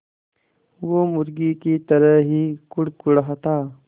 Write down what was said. वो मुर्गी की तरह ही कुड़कुड़ाता